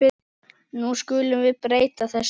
Nú skulum við breyta þessu.